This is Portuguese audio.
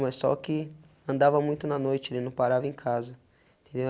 Mas só que andava muito na noite, ele não parava em casa, entendeu?